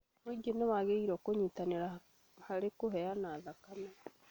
Mũingĩ nĩwagĩrĩirwo nĩ kũnyitanĩra harĩ kũheana thakame